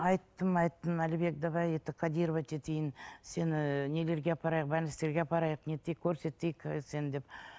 айттым айттым әлібек давай это кодировать етейін сені нелерге апарайық больництерге апарайық не етейік көрсетейік ы сені деп